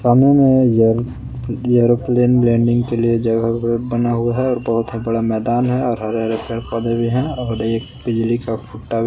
सामने में aeroplane landing के लिए जगह बना हुआ है और बहुत बड़ा मैदान है और हरे हरे पेड़ पौधे भी हैं और एक बिजली का फुट्टा--